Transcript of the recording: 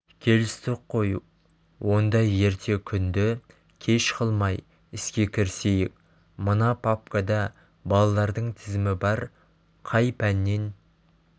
келістік қой онда ерте күнді кеш қылмай іске кірісейік мына папкада балалардың тізімі бар қай пәннен